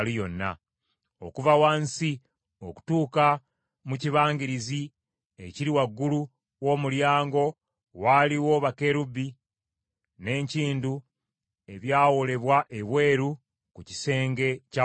Okuva wansi okutuuka mu kibangirizi ekiri waggulu w’omulyango waaliwo bakerubi n’enkindu ebyawoolebwa ebweru ku kisenge ky’Awatukuvu.